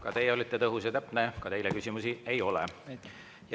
Ka teie olite tõhus ja täpne, ka teile küsimusi ei ole.